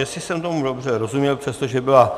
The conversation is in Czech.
Jestli jsem tomu dobře rozuměl, přestože byla